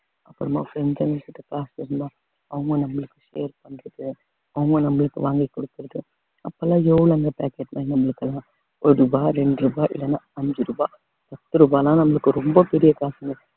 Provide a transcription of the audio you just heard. அப்புறமா friends ங்கள்கிட்ட காசு இருந்தா அவங்க நம்மளுக்கு share பண்றது அவங்க நம்மளுக்கு வாங்கி கொடுக்கறது அப்ப எல்லாம் எவ்வளவுங்க pocket money நம்மளுக்கு எல்லாம் ஒரு ரூபாய் இரண்டு ரூபாய் இல்லைன்னா அஞ்சு ரூபாய் பத்து ரூபாய்ல்லாம் நம்மளுக்கு ரொம்ப பெரிய காசுங்க